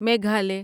Meghalaya